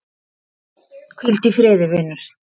Hvíl í friði, vinur.